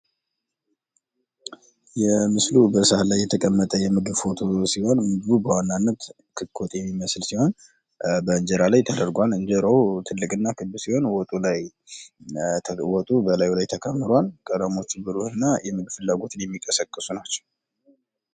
ምስሉ በሰሃን ላይ የተቀመጠ የምግብ ፎቶ ሲሆን፤ በዋናነት ክሊክ ወጥ ይመስላል። እንጀራው ትልቅና ክብ ነው፣ ወጡ መሃል ላይ ተቀምጣል።